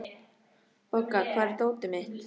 Bogga, hvar er dótið mitt?